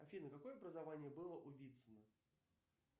афина какое образование было у вицина